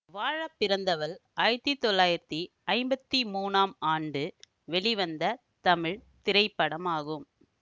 வாழப்பிறந்தவள் ஆயிரத்தி தொள்ளாயிரத்தி ஐம்பத்தி மூனாம் ஆண்டு வெளிவந்த தமிழ் திரைப்படமாகும்